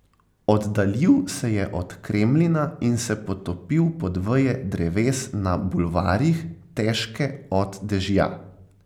Oddaljil se je od Kremlina in se potopil pod veje dreves na bulvarjih, težke od dežja.